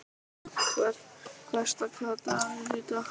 Herta, hvaða dagur er í dag?